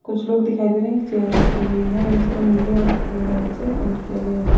कुछ लोग दिखाई दे रहे है एक चेयर रखी हुई है इसको नीले और सफ़ेद रंग से पेंट की गया है।